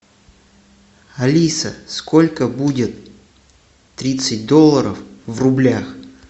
алиса сколько будет тридцать долларов в рублях